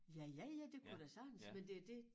Ja ja ja det kunne da sagtens men det det